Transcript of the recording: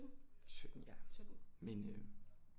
17 ja men øh